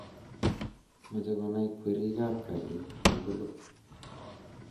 mache konai kwerik ab garit tugulu